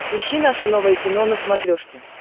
ищи наше новое кино на смотрешке